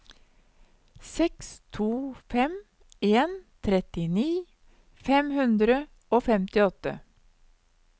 seks to fem en trettini fem hundre og femtiåtte